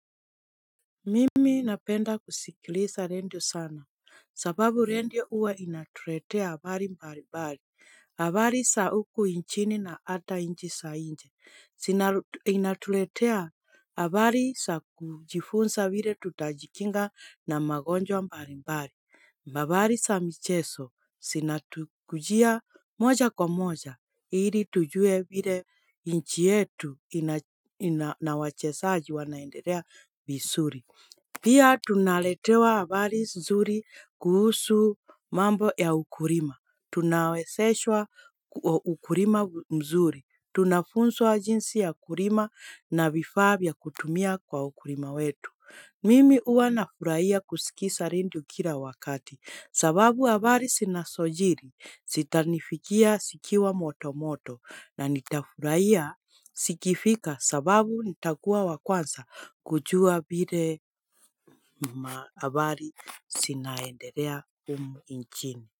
Mimi napenda kusikiliza redio sana, sababu redio huwa inatuletea habari mbalimbali, habari za huku nchini na hata nchi za nje, inatuletea habari za kujifunza vile tutajikinga na magonjwa mbalimbali. Habari za michezo, zinatukujia moja kwa moja, ili tujue vile nchi yetu inawachezaji wanaendelea vizuri. Pia tunaletewa habari mzuri kuhusu mambo ya ukulima. Tunawezeshwa ukulima mzuri. Tunafunzwa jinsi ya kulima na vifaa vya kutumia kwa ukulima wetu. Mimi huwa nafurahia kusikiza redio kila wakati, sababu habari zinazojiri zitanifikia zikiwa motomoto na nitafurahia zikifika sababu nitakuwa wa kwanza kujua vile habari zinaendelea humu nchini.